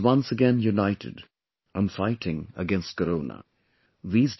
The country is once again united and fighting against Corona